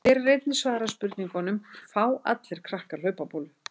Hér er einnig svarað spurningunum: Fá allir krakkar hlaupabólu?